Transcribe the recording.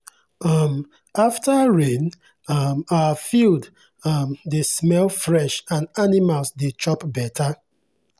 um after rain um our field um dey smell fresh and animals dey chop better.